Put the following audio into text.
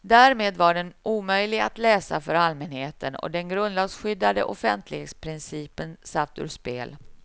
Därmed var den omöjlig att läsa för allmänheten och den grundlagsskyddade offentlighetsprincipen satt ur spel.